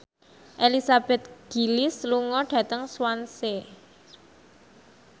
Elizabeth Gillies lunga dhateng Swansea